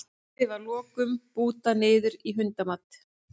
Dýrið var að lokum bútað niður í hundamat.